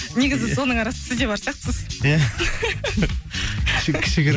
негізі соның арасында сіз де бар сияқтысыз иә кішігірім